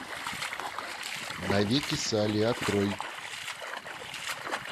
навеки салли открой